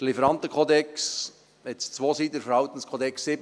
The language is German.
Der Lieferantenkodex hat zwei Seiten, der Verhaltenskodex sieben.